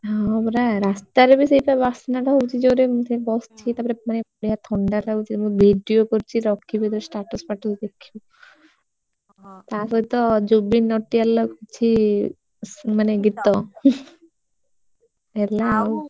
ହଁ ପରା ରାସ୍ତାରେ ବି ସେ ତ ବାସ୍ନା ଟା ହଉଛି ଜୋରେ ମୁଁ ସେଠି ବସଛି ତାପରେ ମାନେ ବଡିଆ ଥଣ୍ଡା ଲାଗୁଛି ମୁଁ video କରିଛି ରଖିବି ଯେତେବେଳେ status ଫାଟ୍ଷ ଦେବି ଦେଖିବୁ ତା ସହିତ ଜୁବିନ ନଟିବାଳର ହଉଛି ମାନେ ଗୀତ ହେଲା ଆଉ।